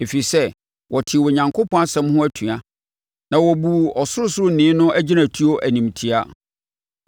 ɛfiri sɛ, wɔtee Onyankopɔn nsɛm ho atua na wɔbuu Ɔsorosoroni no agyinatuo animtiaa.